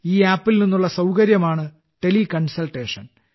ഈ ആപ്പിൽ നിന്നുള്ള സൌകര്യമാണ് ടെലികൺസൾട്ടേഷൻ